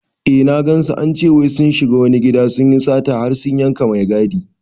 Eh na gansu, ance wai sun shiga wani gida sunyi sata har sun yanka mai gadi